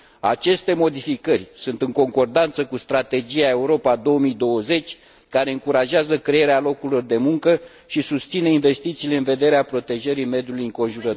Aceste modificări sunt în concordanță cu strategia Europa 2020, care încurajează crearea locurilor de muncă și susține investițiile în vederea protejării mediului înconjurător.